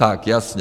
Tak jasně.